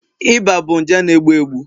Iba bụ nje na egbu egbu